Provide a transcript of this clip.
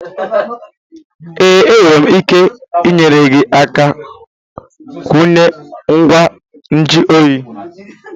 Ee, enwere m ike inyere gị aka kwunye ngwa nju oyi